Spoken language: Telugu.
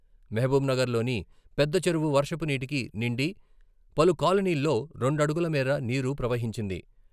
మహబూబ్ నగర్ లోని పెద్ద చెరువు వర్షపు నీటికి నిండి పలు కాలనీల్లో రెండు అడుగుల మేర నీరు ప్రవహించింది.